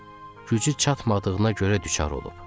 Gücü çatmadığına görə düçar olub.